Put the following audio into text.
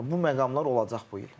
Yəni bu məqamlar olacaq bu il.